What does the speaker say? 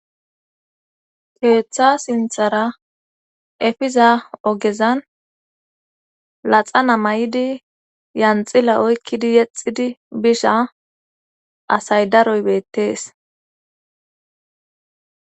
Keeththa sinthara efiza ogezan laxana may7idi yanxila oykkidi yexidi bisha asay daroy beettees